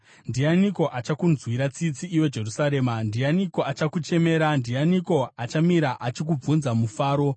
“Ndianiko achakunzwira tsitsi, iwe Jerusarema? Ndianiko achakuchemera? Ndianiko achamira achikubvunza mufaro?